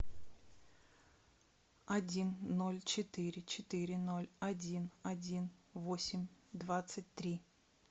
один ноль четыре четыре ноль один один восемь двадцать три